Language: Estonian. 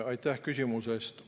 Aitäh küsimuse eest!